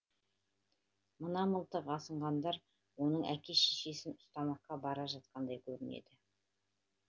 мына мылтық асынғандар оның әке шешесін ұстамаққа бара жатқандай көрінеді